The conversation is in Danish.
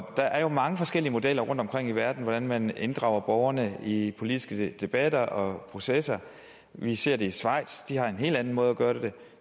der er jo mange forskellige modeller rundtomkring i verden på hvordan man inddrager borgerne i politiske debatter og processer vi ser det i schweiz de har en helt anden måde at gøre det